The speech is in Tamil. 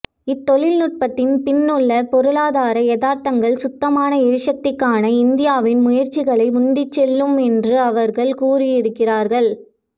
இத்தொழில் நுட்பத்தின் பின்னுள்ள பொருளாதார யதார்த்தங்கள் சுத்தமான எரிசக்திக்கான இந்தியாவின் முயற்சிகளை உந்திச்செல்லும் என்று அவர்கள் கூறுகிறார்கள்